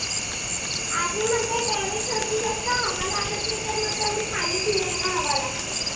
खाली फिरायला हवा लागते.